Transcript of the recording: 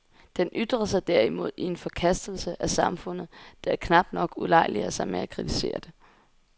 Den ytrer sig derimod i en forkastelse af samfundet, der knap nok ulejliger sig med at kritisere det.